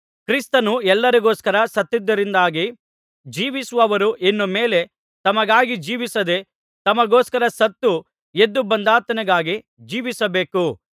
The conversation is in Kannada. ಕ್ರಿಸ್ತನು ಎಲ್ಲರಿಗೋಸ್ಕರ ಸತ್ತದ್ದರಿಂದಾಗಿ ಜೀವಿಸುವವರು ಇನ್ನು ಮೇಲೆ ತಮಗಾಗಿ ಜೀವಿಸದೇ ತಮಗೋಸ್ಕರ ಸತ್ತು ಎದ್ದು ಬಂದಾತನಿಗಾಗಿ ಜೀವಿಸಬೇಕು